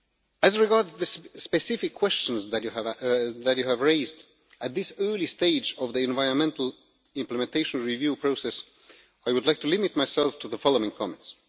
As regards the specific questions that you have raised at this early stage of the environmental implementation review process, I would like to limit myself to the following comments.